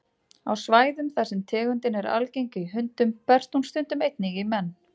Á svæðum þar sem tegundin er algeng í hundum berst hún stundum einnig í menn.